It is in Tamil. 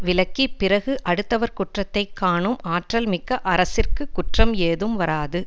விலக்கிப் பிறகு அடுத்தவர் குற்றத்தை காணும் ஆற்றல் மிக்க அரசிற்கு குற்றம் ஏதும் வராது